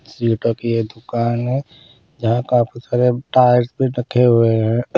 जीटो की यह दुकान है जहाँ काफी सारे टायर्स भी रखे हुए हैं।